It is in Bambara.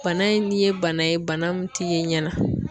Bana in ni ye bana ye bana min t'i ye ɲɛ na